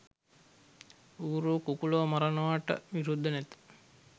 ඌරො කුකුළො මරනවට විරුද්ධ නැත